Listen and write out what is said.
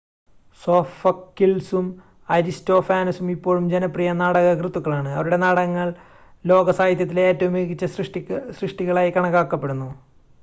സോഫക്കിൾസും അരിസ്റ്റോഫാനസും ഇപ്പോഴും ജനപ്രിയ നാടകകൃത്തുക്കളാണ് അവരുടെ നാടകങ്ങൾ ലോക സാഹിത്യത്തിലെ ഏറ്റവും മികച്ച സൃഷ്ടികളായി കണക്കാക്കപ്പെടുന്നു